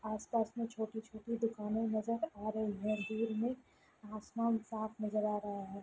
आस-पास मे छोटी-छोटी दुकाने नजर आ रही है। दूर में आसमान साफ नजर आ रहा है।